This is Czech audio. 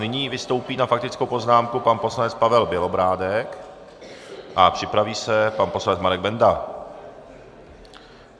Nyní vystoupí na faktickou poznámku pan poslanec Pavel Bělobrádek a připraví se pan poslanec Marek Benda.